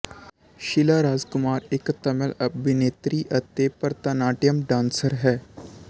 ਸ਼ੀਲਾ ਰਾਜਕੁਮਾਰ ਇੱਕ ਤਾਮਿਲ ਅਭਿਨੇਤਰੀ ਅਤੇ ਭਰਤਾਨਾਟਿਅਮ ਡਾਂਸਰ ਹੈ